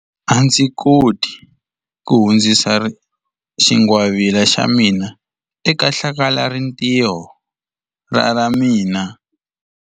A ndzi koti ku hundzisa xingwavila xa mina eka hlakalarintiho ra ra mina.